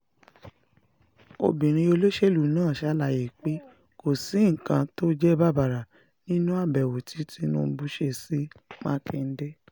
obìnrin olóṣèlú náà ṣàlàyé pé kò sí nǹkan tó jẹ́ bàbàrà nínú àbẹ̀wò tí tìǹbù ṣe sí mákindé